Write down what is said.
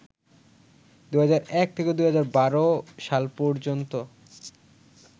২০০১ থেকে ২০১২ সাল পর্যন্ত